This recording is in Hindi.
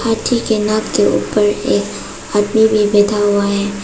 हाथी के नाक के ऊपर एक आदमी भी बैठा हुआ है।